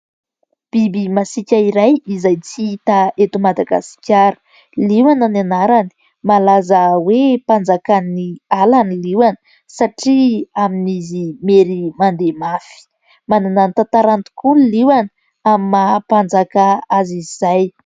Biby masiaka iray izay tsy hita eto Madagasikara. Liona ny anarany. Malaza hoe mpanjakan'ny ala ny liona, satria amin'izy mahery mandeha mafy. Manana ny tantarany tokoa ny liona amin'ny maha mpanjaka azy izay.